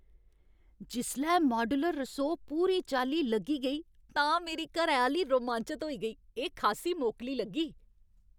जिसलै माड्यूलर रसोऽ पूरी चाल्ली लग्गी गेई तां मेरी घरैआह्‌ली रोमांचत होई गेई। एह् खासी मोकली लग्गी!